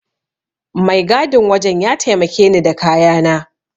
Mai gadin wajen ya taimake ni da kayana.